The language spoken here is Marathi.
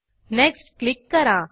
नेक्स्ट क्लिक करा